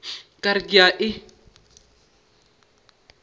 ka re ke a e